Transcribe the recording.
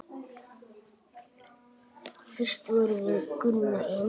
Fyrst vorum við Gunna eins.